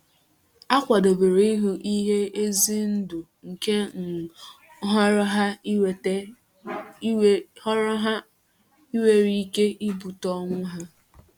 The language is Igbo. Ha kwadebere ihu ihe ize ndụ nke um nhọrọ ha nwere ike ibute ọnwụ ha.